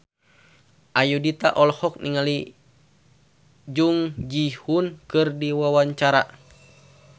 Ayudhita olohok ningali Jung Ji Hoon keur diwawancara